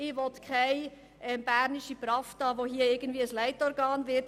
Ich will keine bernische «Prawda», die zu einer Art Leitorgan wird.